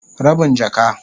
Rabin jaka.